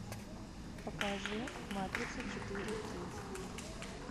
покажи матрица четыре кей